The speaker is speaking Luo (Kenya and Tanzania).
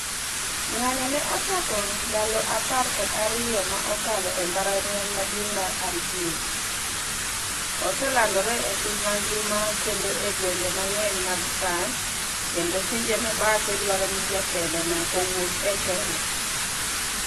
Ng'anyo ne ochako ndalo aper kod ariyo ma okalo e mbalariany maduong' mar Algiers, oselandore e piny mangima, kendo e gwenge mang'eny mag France kendo pinje mabadhe dwaro ni jatelo no owuog e telo.